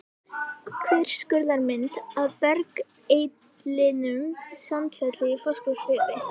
Þverskurðarmynd af bergeitlinum Sandfelli í Fáskrúðsfirði.